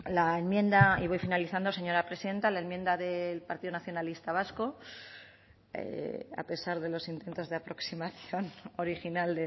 la enmienda y voy finalizando señora presidenta la enmienda del partido nacionalista vasco a pesar de los intentos de aproximación original